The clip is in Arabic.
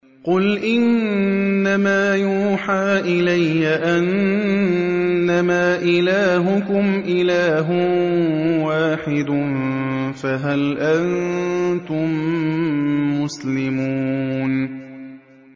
قُلْ إِنَّمَا يُوحَىٰ إِلَيَّ أَنَّمَا إِلَٰهُكُمْ إِلَٰهٌ وَاحِدٌ ۖ فَهَلْ أَنتُم مُّسْلِمُونَ